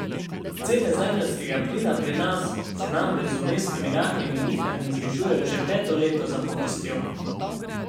Cene zemeljskega plina pri nas se namreč z vmesnimi rahlimi nihanji znižujejo že peto leto zapovrstjo.